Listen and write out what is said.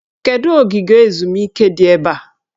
Kedụ ogige ezumike dị ebe a?